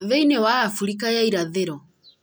thĩinĩ wa Afirika ya irathĩro,